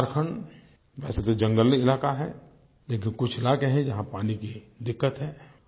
झारखंड वैसे तो जंगली इलाका है लेकिन कुछ इलाके हैं जहाँ पानी की दिक्कत है